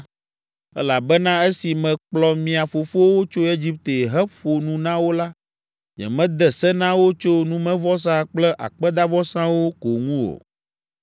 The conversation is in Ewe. Elabena esi mekplɔ mia fofowo tso Egipte heƒo nu na wo la, nyemede se na wo tso numevɔsa kple akpedavɔsawo ko ŋu o.